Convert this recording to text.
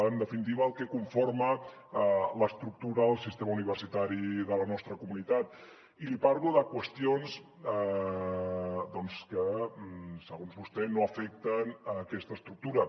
en definitiva el que conforma l’estructura del sistema universitari de la nostra comunitat i li parlo de qüestions que segons vostè no afecten aquesta estructura